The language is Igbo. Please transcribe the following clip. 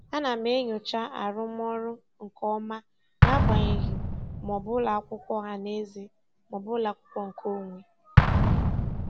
Ana m enyocha arụmọrụ nke ọma n'agbanyeghị ma ọ bụ ụlọakwụkwọ ọhanaeze maọbụ ụlọakwụkwọ nke onwe.